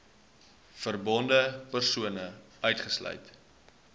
verbonde persone uitgesluit